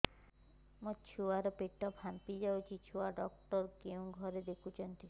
ମୋ ଛୁଆ ର ପେଟ ଫାମ୍ପି ଯାଉଛି ଛୁଆ ଡକ୍ଟର କେଉଁ ଘରେ ଦେଖୁ ଛନ୍ତି